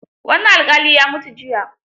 Wani alƙali ya mutu jiya